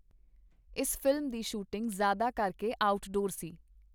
ਇਸ ਫ਼ਿਲਮ ਦੀ ਸ਼ੂਟਿੰਗ ਜ਼ਿਆਦਾ ਕਰਕੇ ਆਊਟ-ਡੋਰ ਸੀ.